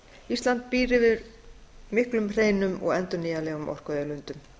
ísland býr yfir miklum hreinum og endurnýjanlegum orkuauðlindum